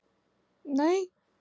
Þér leið svo vel.